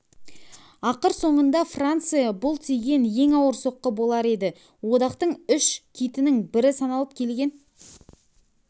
ақыр соңында франция бұл тиген ең ауыр соққы болар еді одақтың үш китінің бірі саналып келген